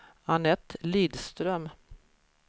Anette Lidström